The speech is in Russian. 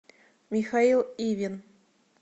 михаил ивин